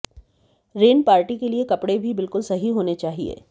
rain party के लिए कपड़े भी बिल्कुल सही होने चाहिए